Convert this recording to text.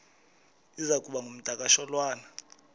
iza kuba ngumdakasholwana